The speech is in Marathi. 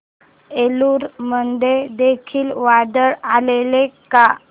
एलुरू मध्ये देखील वादळ आलेले का